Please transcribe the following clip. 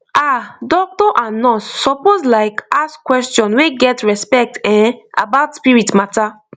ah doctor and nurse suppose like ask question wey get respect[um]about spirit matter